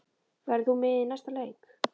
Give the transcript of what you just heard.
Verður þú með í næsta leik?